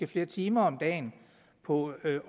flere timer om dagen på at